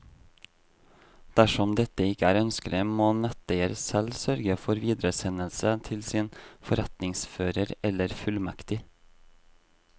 Dersom dette ikke er ønskelig, må netteier selv sørge for videresendelse til sin forretningsfører eller fullmektig.